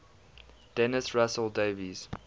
dennis russell davies